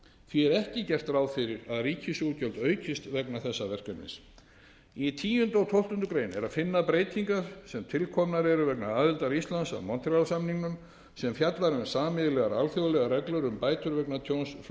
því er ekki gert ráð fyrir að ríkisútgjöld aukist vegna þessa verkefnis í tíunda og tólftu grein er að finna breytingar sem tilkomnar eru vegna aðildar íslands að montreal samningnum sem fjallar um sameiginlegar alþjóðareglur um bætur vegna tjóns